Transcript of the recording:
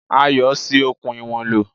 Ayọ̀ ṣi okùn ìwọ̀n lò.